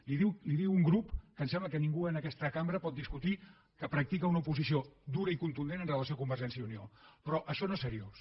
li ho diu un grup que em sembla que ningú en aquesta cambra pot discutir que practica una oposició dura i contundent amb relació a convergència i unió però això no és seriós